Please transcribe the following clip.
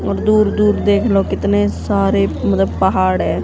और दूर दूर देख लो कितने सारे मतलब पहाड़ है।